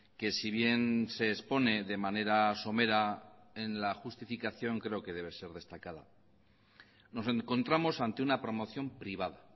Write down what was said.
que si bien se expone de manera somera en la justificación creo que debe ser destacada nos encontramos ante una promoción privada